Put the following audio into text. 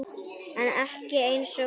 En ekki einsog núna.